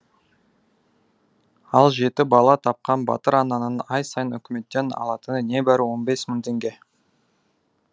ал жеті бала тапқан батыр ананың ай сайын үкіметтен алатыны небәрі он бес мың теңге